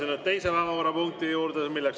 Läheme teise päevakorrapunkti juurde.